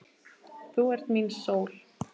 Þú ert mín sól.